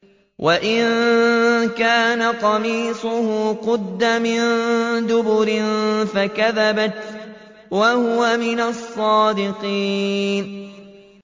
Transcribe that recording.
وَإِن كَانَ قَمِيصُهُ قُدَّ مِن دُبُرٍ فَكَذَبَتْ وَهُوَ مِنَ الصَّادِقِينَ